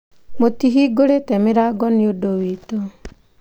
Mũtihingũrĩte mĩrango nĩ ũndũ witũ.